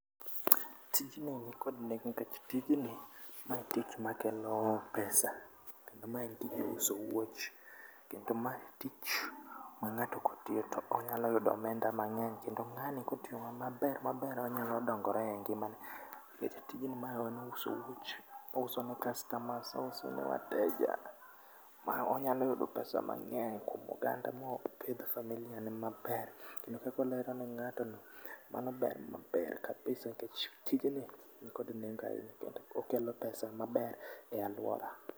Tijni nikod nengo nikech tijni ma tich makelo pesa, ma en tich mar uso wuoch kendo ma en tich ma kangato tiyo tonyalo yudo omenda mangeny kendo ngani kotiyo maber ,maber onyalo dongore e ngimane. Nikech tijni mae en tij uso wuoch ouoso ne kastomas ouso ne wateja ma onyalo yudo pesa mangeny kuom oganda mopidh familia ne maber kendo kakolero ne ngato no mano ber, ber kabisa nikech tijni nikod nengo ahinya, okelo pesa maber e aluora